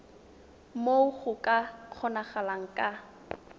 moo go ka kgonagalang ka